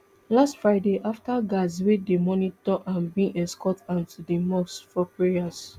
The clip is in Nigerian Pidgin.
last friday afta guards wey dey monitor am bin escort am to di mosque for prayers